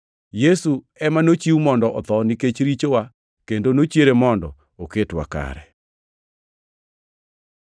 Yesu ema nochiw mondo otho nikech richowa kendo nochiere mondo oketwa kare.